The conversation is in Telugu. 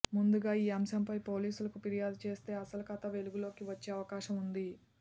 ముందుగా ఈ అంశంపై పోలీసులకు ఫిర్యాదు చేస్తే అసలు కథ వెలుగులోకి వచ్చే అవకాశం ఉంది